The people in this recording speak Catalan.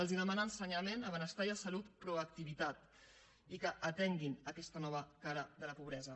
els demana a ensenyament a benestar i a salut proactivitat i que atenguin aquesta nova cara la pobresa